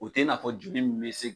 U tɛ n'a fɔ jugu bɛ se